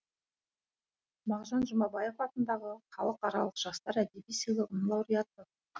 мағжан жұмабаев атындағы халықаралық жастар әдеби сыйлығының лауреаты